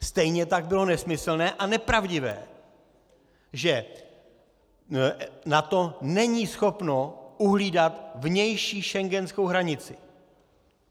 Stejně tak bylo nesmyslné a nepravdivé, že NATO není schopno uhlídat vnější schengenskou hranici.